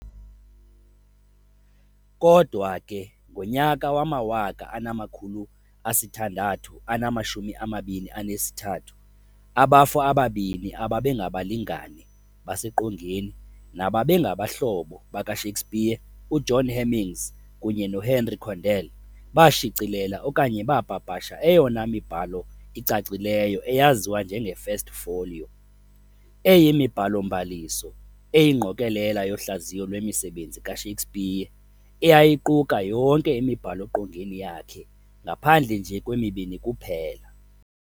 Kodwa ke, ngonyaka wama-1623, abafo ababini ababengabalingane baseqongeni nababengabahlobo baka-Shakespeare, u-John Heminges kunye no-Henry Condell, baashicilela okanye baapapasha eyona mibhalo icacileyo eyaziwa njenge-First Folio, eyimibhalo-mbaliso eyingqokelela yohlaziyo lwemisebenzi ka-Shakespeare eyayiquka yonke imibhalo-qongeni yakhe ngaphandle nje kwemibini kuphela.